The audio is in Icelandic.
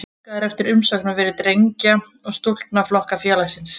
Óskað er eftir umsóknum fyrir drengja- og stúlknaflokka félagsins.